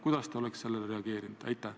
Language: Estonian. Kuidas te oleksite sellele reageerinud?